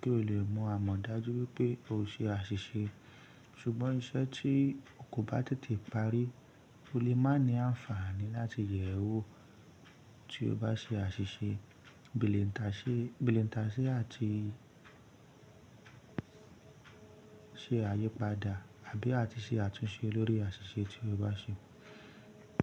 kí o lè mọ àmọ̀ dájú pé o ṣe àṣìṣe. Ṣùgbọ́n iṣẹ́ tí o kò bá tètè parí, o lè máa ní àǹfààní láti yẹ̀ ẹ́ wò tí o bá ṣe àṣìṣe, beìentàsé àti ṣe àyípadà àbí àti ṣe àtúnṣe lórí àṣìṣe tí o bá ṣe.